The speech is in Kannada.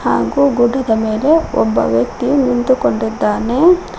ಆಗೋ ಗುಡ್ಡದ ಮೇಲೆ ಒಬ್ಬ ವ್ಯಕ್ತಿ ನಿಂತುಕೊಂಡಿದ್ದಾನೆ.